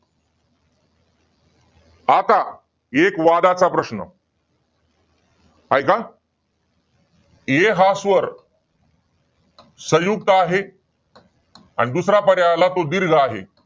आता एक वादाचा प्रश्न. ऐका, ऐ हा स्वर, संयुक्त आहे? आणि दुसरा पर्याय आला तो दीर्घ आहे.